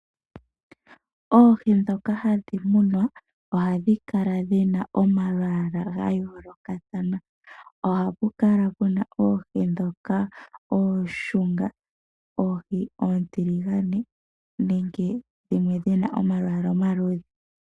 Oohi ndhoka hadhi munwa ohadhi kala dhi na omalwaala ga yoolokatha. Oha pukala pu na oohi ndhoka ooshunga, oohi oontiligane nenge dhimwe dhi na omalwaala omaluudhe.